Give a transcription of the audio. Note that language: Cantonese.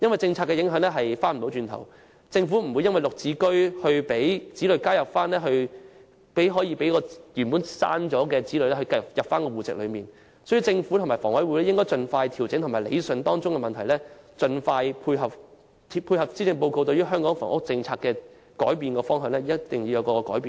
政策造成的影響不能逆轉，政府也不會因"綠置居"而讓已從戶籍剔除的子女重新加入戶籍，所以政府和房委會應盡快調整和理順涉及的問題，盡快配合施政報告對香港房屋政策的改變方向，同時作出改變。